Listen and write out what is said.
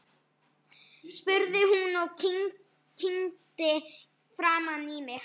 spurði hún og kímdi framan í mig.